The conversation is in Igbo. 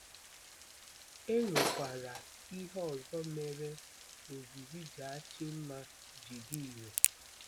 E nwekwara ihe ọzọ mere ozizi Jachimma ji dị irè.